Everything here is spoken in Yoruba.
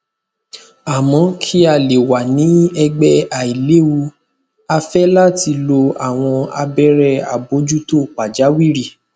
amo ki a le wa ni ẹgbẹ ailewu a fẹ lati lo awọn abẹrẹ abojuto pajawiri